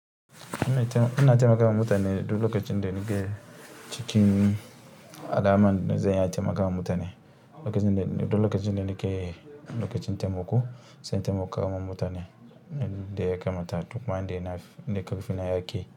Ina taimakawa mutane duk lokacin da nake cikin al'amuran zan iya taimakawa mutane. Duk lokacin da nake lokacin taimako, zan taimakawa mutane da ya kamata. Duk man da na da ƙarfi na yake.